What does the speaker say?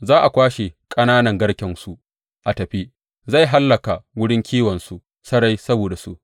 Za a kwashe ƙananan garkensu a tafi; zai hallaka wurin kiwonsu sarai saboda su.